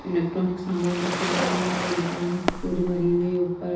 electronic सामान रखे हुए हैं या दुकान पूरी भरी हुई है ऊपर--